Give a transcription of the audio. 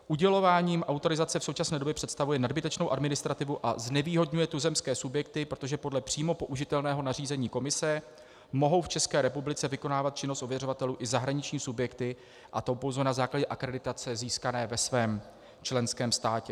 Udělováním autorizace v současné době představuje nadbytečnou administrativu a znevýhodňuje tuzemské subjekty, protože podle přímo použitelného nařízení Komise mohou v České republice vykonávat činnost ověřovatelů i zahraniční subjekty, a to pouze na základě akreditace, získané ve svém členském státě.